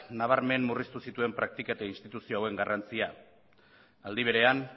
nabarmen murriztu zituen praktika eta instituzio hauen garrantzia aldi berean